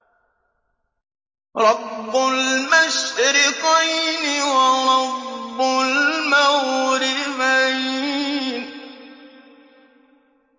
رَبُّ الْمَشْرِقَيْنِ وَرَبُّ الْمَغْرِبَيْنِ